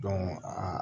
aa